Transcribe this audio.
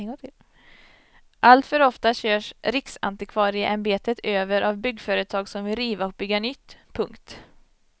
Alltför ofta körs riksantikvarieämbetet över av byggföretag som vill riva och bygga nytt. punkt